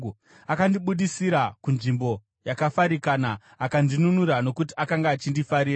Akandibudisira kunzvimbo yakafarikana; akandinunura nokuti akanga achindifarira.